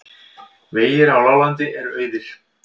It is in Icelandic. Vegir á láglendi eru auðir